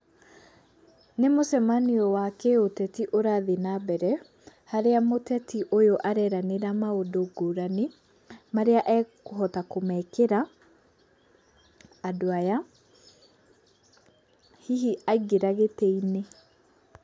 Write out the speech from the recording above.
Nĩ mũcemanio wa kĩũteti ũrathiĩ na mbere, harĩa mũteti ũyũ areranĩra maũndũ ngũrani, marĩa ekũhota kũmekĩra andũ aya, hihi aingĩra gĩtĩinĩ.